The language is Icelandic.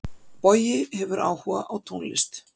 Bogi hefur áhuga á tónlist.